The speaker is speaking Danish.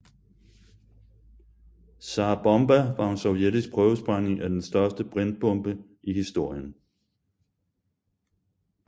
Tsar Bomba var en sovjetisk prøvesprængning af den største brintbombe i historien